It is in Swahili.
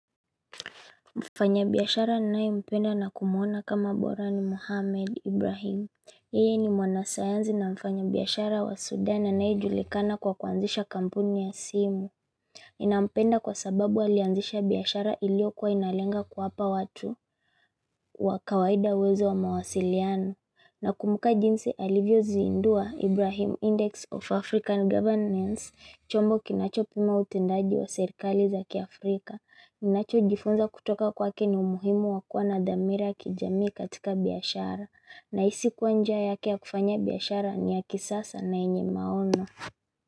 Mfanya biyashara ninaempenda na kumuona kama bora ni Muhammad Ibrahim. Yeye ni mwana sayanzi na mfanya biashara wa Sudan anaye julikana kwa kuanzisha kampuni ya simu. Ninampenda kwa sababu alianzisha biashara ilio kuwa inalenga kuwapa watu wa kawaida uwezo wa mawasiliano. Na kumbuka jinsi alivyo zindua, Ibrahim Index of African Governance, chombo kinacho pima utendaji wa serikali zaki Afrika. Ninacho jifunza kutoka kwake ni umuhimu wakuwa nadhamira ya kijamii katika biashara na isi kuwa njia yake ya kufanya biashara ni ya kisasa na yenye maono.